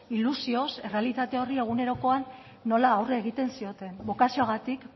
ilusioz errealitate horri egunerokoan nola aurre egiten zioten bokazioagatik